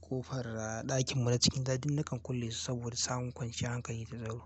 ƙofar ɗakinmu na cikin ɗaki duk nakan kullesu saboda samun kwanciyar hankali da tsaro.